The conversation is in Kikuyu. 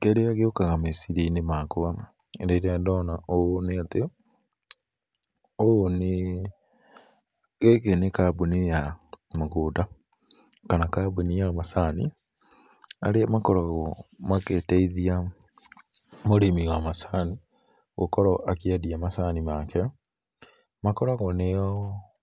Kĩrĩa gĩũkaga meciria-inĩ makwa rĩrĩa ndona ũũ nĩatĩ, ũũ nĩ, gĩkĩ nĩ kambuni ya mũgũnda kana kambuni ya macani, arĩa makoragwo makĩteithia mũrĩmi wa macani gũkorwo akĩendia macani make, makoragwo nĩo